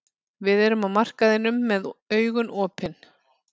Við erum á markaðinum með augun opin.